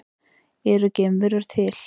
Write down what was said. Eru geimverur til?